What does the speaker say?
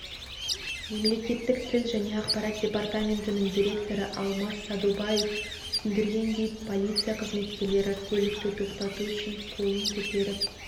мемлекеттік тіл және ақпарат епартаментінің директоры алмас садубаев түсіндіргендей полиция қызметкерлері көлікті тоқтату үшін қолын көтеріп